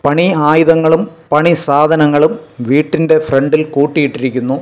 പണി ആയുധങ്ങളും പണി സാധനങ്ങളും വീട്ടിൻ്റെ ഫ്രണ്ടിൽ കൂട്ടിയിട്ടിരിക്കുന്നു.